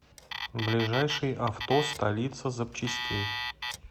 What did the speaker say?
ближайший авто столица запчастей